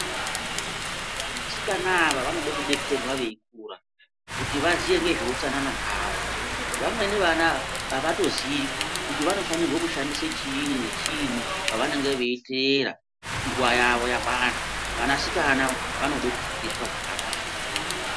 Vanasikana ava vanode kudetserwa veikura kuti vaziye ngezveutsanana zvavo. Vamweni vana avatoziyi kuti vanofanirwe kushandise chiinyi nechiinyi pavanenge veiteera nguwa yavo yakwana. Vanasikana vanode kufundiswa zvakanaka.